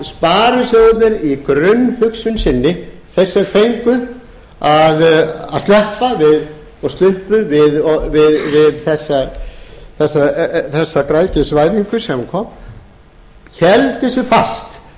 sparisjóðirnir í grunnhugsun sinni þeir sem fengu að sleppa og sluppu við þessa græðgisvæðingu sem kom héldu sig fast við sína félagshyggju